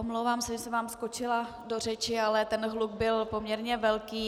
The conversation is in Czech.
Omlouvám se, že jsem vám skočila do řeči, ale ten hluk byl poměrně velký.